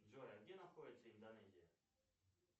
джой а где находится индонезия